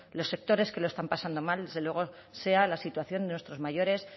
los sectores que lo están pasando mal desde luego sea la situación de nuestros mayores